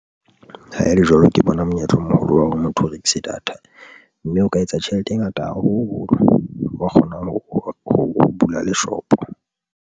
Ha ele jwalo, ke bona monyetla o moholo wa hore motho o rekise data mme o ka etsa tjhelete e ngata haholo, wa kgona ho bula le shopo.